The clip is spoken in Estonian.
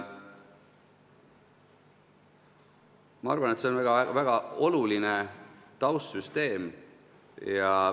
Ma arvan, et see on väga oluline taustsüsteem.